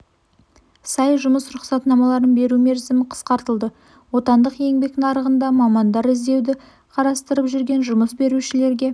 сай жұмыс рұқсатнамаларын беру мерзімі қысқартылды отандық еңбек нарығында мамандар іздеуді қарастырып жүрген жұмыс берушілерге